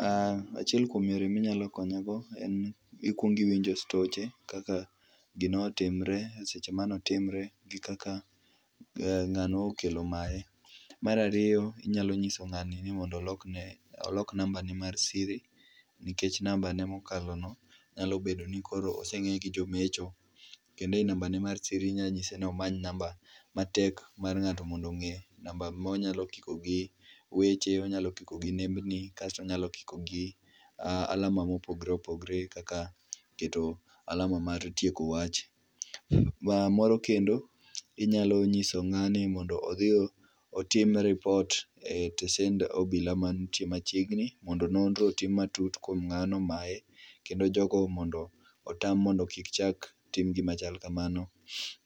Aaah, achiel kuom yor eminy akonyego en ni ikuong iwinjo stoche kaka gino otimre, seche mane otimre gi kaka ngano okelo maye. Mar ariyo inyalo nyiso ngani mondo olok nambane mar siri nikech nambane mokalo no osenge gi jomecho kendo e namba ne mar siri inyalo nyise mondo omany namba matek mar ngato mondo onge, namba monya kiko gi weche ,onya kiko gi nembeni, kasto onya kiko gi alama mopogore opogore kaka keto alama mar tieko wach. Moro kendo inyalo nyiso ngani mondo odhi otim ripot e tesend obila mantie machiegni mondo nonro otim matut kuom ngano maye kendo jogo mondo otam mondo kik chak tim gima chal kamano.